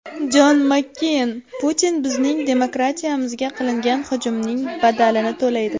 Jon Makkeyn: Putin bizning demokratiyamizga qilingan hujumning badalini to‘laydi.